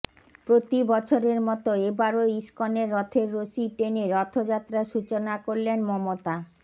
প্রতি বছরের মতো এবারও ইস্কনের রথের রশি টেনে রথাযাত্রার সূচনা করলেন মমতা